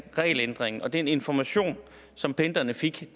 regelændringen og den information som pendlerne fik